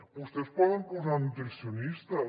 vostès hi poden posar nutricionistes